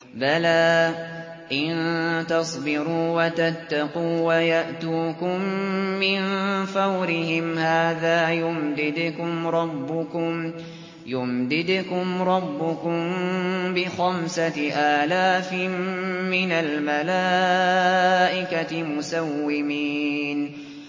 بَلَىٰ ۚ إِن تَصْبِرُوا وَتَتَّقُوا وَيَأْتُوكُم مِّن فَوْرِهِمْ هَٰذَا يُمْدِدْكُمْ رَبُّكُم بِخَمْسَةِ آلَافٍ مِّنَ الْمَلَائِكَةِ مُسَوِّمِينَ